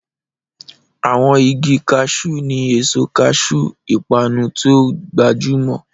Àwọn igi Cashew ní èso cashew, ìpanu tí ó gbajúmọ̀.